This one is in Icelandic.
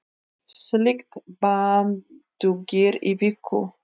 Slíkt bann dugir í viku.